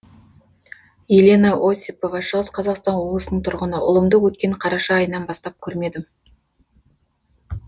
елена осипова шығыс қазақстан облысының тұрғыны ұлымды өткен қараша айынан бастап көрмедім